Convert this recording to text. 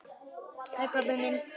Já, þetta er allt rétt.